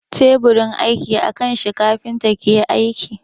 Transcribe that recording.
Teburin aiki a kan shi kafinta ke aiki.